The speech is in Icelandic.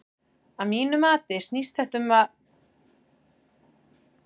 Að mínu mati snýst þetta um hundsa ekki neitt.